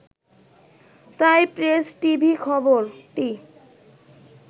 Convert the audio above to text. তাই প্রেস, টিভি-খবরটি